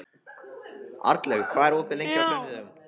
Arnlaug, hvað er opið lengi á sunnudaginn?